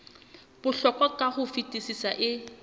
bohlokwa ka ho fetisisa e